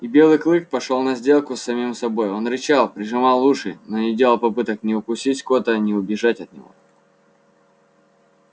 и белый клык пошёл на сделку с самим собой он рычал прижимал уши но не делал попыток ни укусить скотта ни убежать от него